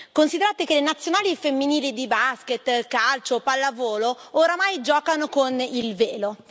Considerate che le nazionali femminili di basket, calcio o pallavolo oramai giocano con il velo.